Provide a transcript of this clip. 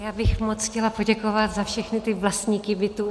Já bych moc chtěla poděkovat za všechny ty vlastníky bytů.